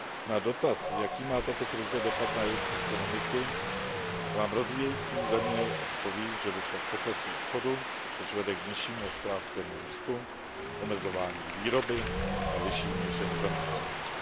Na dotaz, jaký má tato krize dopad na jejich ekonomiky, vám rozvíjející země odpoví, že došlo k poklesu obchodu, což vede k nižšímu hospodářskému růstu, omezování výroby a vyšší míře nezaměstnanosti.